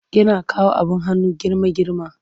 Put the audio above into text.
Yana kawo abin hannu girma-girma.